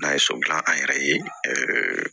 N'a ye so dilan an yɛrɛ ye